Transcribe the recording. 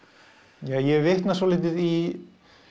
ég vitna svolítið í